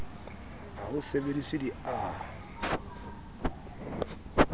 ha ho sebediswe di a